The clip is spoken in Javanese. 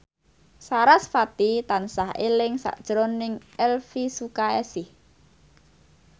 sarasvati tansah eling sakjroning Elvy Sukaesih